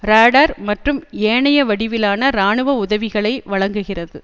ராடர் மற்றும் ஏனைய வடிவிலான இராணுவ உதவிகளை வழங்குகிறது